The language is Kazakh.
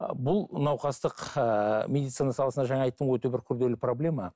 ы бұл науқастық ыыы медицина саласында жаңа айттым ғой өте бір күрделі проблема